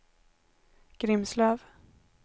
Grimslöv